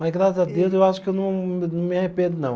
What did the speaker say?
Mas, graças a Deus, eu acho que eu não, não me arrependo, não.